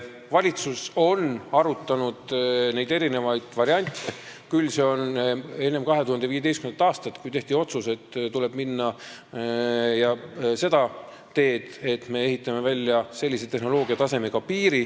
Valitsus on arutanud eri variante, küll enne 2015. aastat, kui tehti otsus, et tuleb minna seda teed, et me ehitame välja tehnoloogiatasemega piiri.